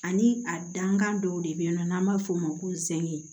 Ani a dankan dɔw de be yen nɔ n'an b'a f'o ma ko zɛg